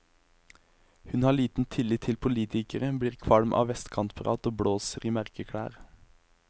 Hun har liten tillit til politikere, blir kvalm av vestkantprat og blåser i merkeklær.